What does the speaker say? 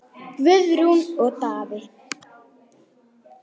Guðrún og Daði.